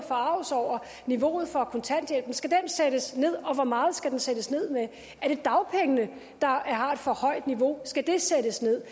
forarget over niveauet for kontanthjælpen skal den sættes ned og hvor meget skal den sættes ned med er det dagpengene der har et for højt niveau og skal det sættes ned